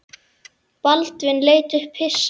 Baldvin leit upp hissa.